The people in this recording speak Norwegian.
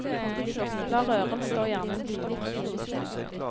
La røren stå gjerne en time.